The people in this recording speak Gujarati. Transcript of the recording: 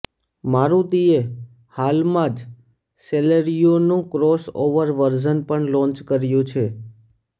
મારુતિએ હાલમાં જ સેલેરિયોનું ક્રોસઓવર વર્ઝન પણ લોન્ચ કર્યું છે